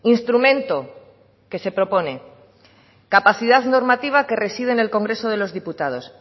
instrumento que se propone capacidad normativa que reside en el congreso de los diputados